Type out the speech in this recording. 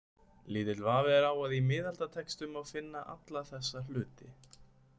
Lítill vafi er á að í miðaldatextum má finna alla þessa hluti.